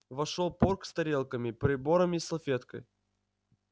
вошёл порк с тарелками прибором и салфеткой